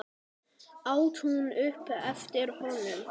át hún upp eftir honum.